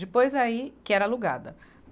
Depois aí, que era alugada.